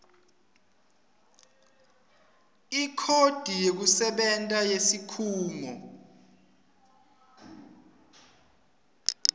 ikhodi yekusebenta yesikhungo